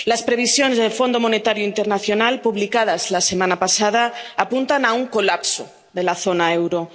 Las previsiones del Fondo Monetario Internacional, publicadas la semana pasada, apuntan a un colapso de la zona del euro.